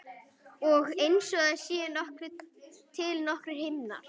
Og einsog það séu til nokkrir himnar.